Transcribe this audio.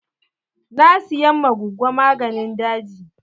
Na siyan ma gogo maganin daji.